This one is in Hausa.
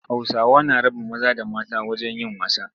Hausawa na raba maza da mata wajen yin wasa.